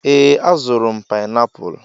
Ee, azụrụ m painiapulu.